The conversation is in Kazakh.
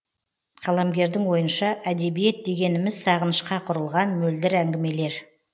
қаламгердің ойынша әдебиет дегеніміз сағынышқа құрылған мөлдір әңгімелер